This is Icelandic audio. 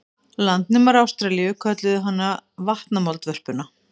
Landnemar Ástralíu kölluðu hana vatnamoldvörpuna.